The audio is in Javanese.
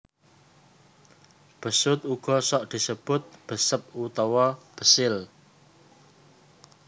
Besut uga sok disebut Besep utawa Besil